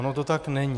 Ono to tak není.